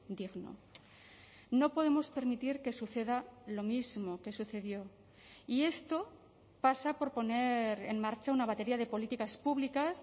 digno no podemos permitir que suceda lo mismo que sucedió y esto pasa por poner en marcha una batería de políticas públicas